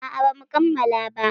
A a ba mu kammala ba.